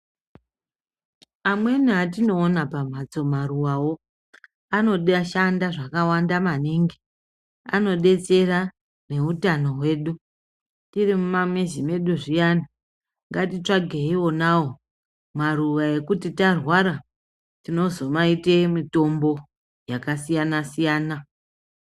Amweni atinoona pambatso maruwawo anode shanda zvakawanda maningi anodetsera neutano hwedu tiri mumamizi mwedu zviyani ngatitsvagei onawo maruwa ekuti tarwara tinozomaite mutombo yakasiyana siyana.